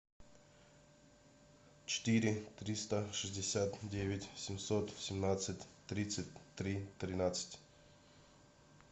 четыре триста шестьдесят девять семьсот семнадцать тридцать три тринадцать